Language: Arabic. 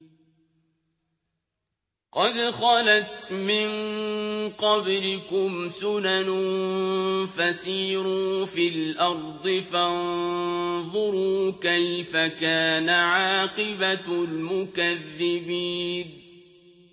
قَدْ خَلَتْ مِن قَبْلِكُمْ سُنَنٌ فَسِيرُوا فِي الْأَرْضِ فَانظُرُوا كَيْفَ كَانَ عَاقِبَةُ الْمُكَذِّبِينَ